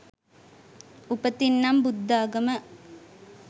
උපතින් නම් බුද්ධාගම